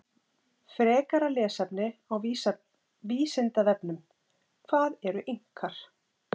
Frekara lesefni á Vísindavefnum: Hvað eru Inkar?